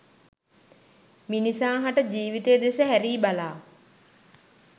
මිනිසා හට ජීවිතය දෙස හැරී බලා